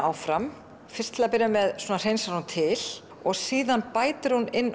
áfram fyrst til að byrja með hreinsar hún til og síðan bættir hún inn